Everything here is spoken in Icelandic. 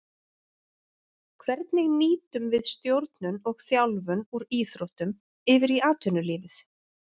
Hvernig nýtum við stjórnun og þjálfun úr íþróttum yfir í atvinnulífið.